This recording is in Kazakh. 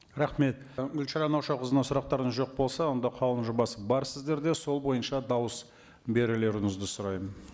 рахмет і гүлшара наушақызына сұрақтарыңыз жоқ болса онда қаулының жобасы бар сіздерде сол бойынша дауыс берулеріңізді сұраймын